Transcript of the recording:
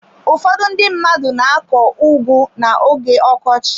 Ụfọdụ ndị mmadụ na akọ ugu na-oge ọkọchị.